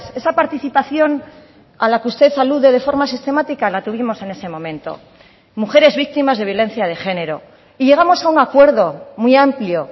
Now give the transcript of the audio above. esa participación a la que usted alude de forma sistemática la tuvimos en ese momento mujeres víctimas de violencia de género y llegamos a un acuerdo muy amplio